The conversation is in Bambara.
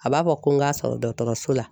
A b'a fɔ ko n k'a sɔrɔ dɔgɔtɔrɔso la